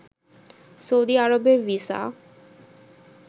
Saudi আরবের visa